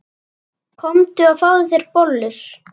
Komdu og fáðu þér bollur.